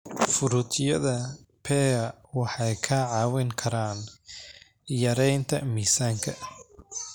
Fruityada pear waxay ka caawin karaan yareynta miisaanka.